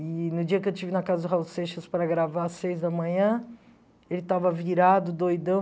E no dia que eu estive na casa do Raul Seixas para gravar às seis da manhã, ele estava virado, doidão.